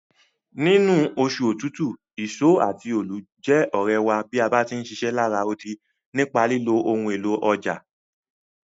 Nínú osù otútù, ìso àti óólù je òrẹ̀ wa bá ti ń ṣiṣẹ́ lará odi nípa lílo ohun élò ọjà.